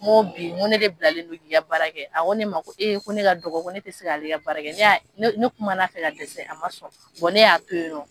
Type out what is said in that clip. N ko bi n ko ne de bilalen don k'i ka baarakɛ, a ko ne ma ko ee ko ne ka dɔgɔ ko ne tɛ se k'ale ka baarakɛ, ne y'a ne kuma fɛ ka dɛsɛ a ma sɔn wa ne y'a to yen nɔ.